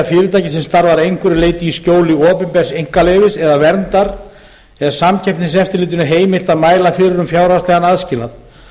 sem starfar að einhverju leyti í skjóli opinbers einkaleyfis eða verndar er samkeppniseftirlitinu heimilt að mæla fyrir um fjárhagslegan aðskilnað